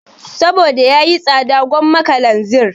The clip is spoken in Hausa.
Saboda yayi tsada gwamma kalanzir